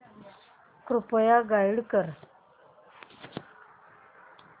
कृपया गाईड कर